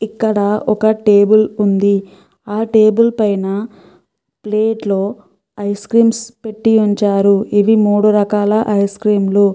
ఇక్కడ ఒక టేబుల్ ఉంది ఆ టేబుల్ పైన ప్లేట్లో ఐస్ క్రీమ్స్ పెట్టి ఉంచారు ఇవి మూడు రకాల ఐస్ క్రీమ్లు .